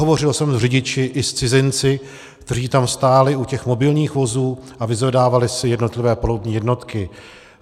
Hovořil jsem s řidiči i s cizinci, kteří tam stáli u těch mobilních vozů a vyzvedávali si jednotlivé palubní jednotky.